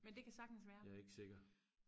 men det kan sagtens være